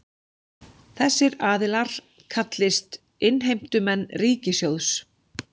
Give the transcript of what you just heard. Þessir aðilar kallist innheimtumenn ríkissjóðs